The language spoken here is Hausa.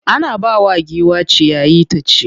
Ana bawa giwa ciyayi ta ci.